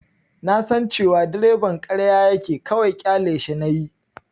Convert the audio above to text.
Na san cewa direban ƙarya yake, kawai ƙyaleshi nayi.